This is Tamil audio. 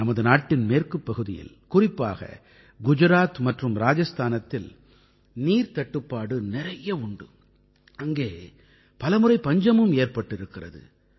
நமது நாட்டின் மேற்குப் பகுதியில் குறிப்பாக குஜராத் மற்றும் ராஜஸ்தானத்தில் நீர்த்தட்டுப்பாடு நிறைய உண்டு அங்கே பல முறை பஞ்சமும் ஏற்பட்டிருக்கிறது